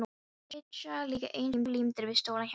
Þeir sitja líka eins og límdir við stólana hjá honum!